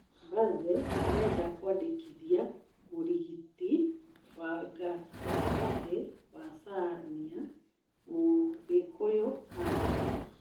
Baze marenda kũmũandĩkithia mũrĩgiti wa gatagati wa Shania, Mũgikũyu Antony.